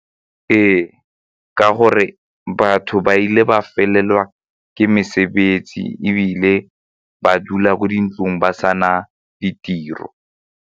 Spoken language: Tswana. Ee, ka gore batho ba ile ba felelwa ke mesebetsi ebile ba dula ko dintlong ba sa na ditiro.